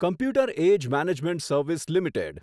computer Age Management Service limited